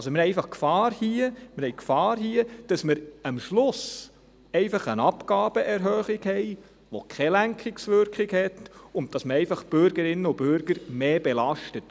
Wir haben hier also einfach die Gefahr, dass wir am Schluss eine Abgabenerhöhung haben, die keine Lenkungswirkung hat, und dass man die Bürgerinnen und Bürger einfach mehr belastet.